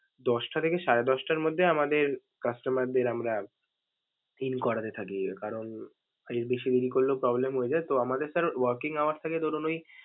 দশটা থেকে সাড়ে দশটার মধ্যে আমাদের customer দের আমরা in করাতে থাকি. কারণ এর বেশি দেরি করলেও problem হয়ে যায়, তো আমাদের sir working hour থাকে ধরুন ওই।